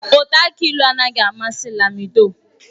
Ụtọ aki ịlụ anaghị amasị Lamido.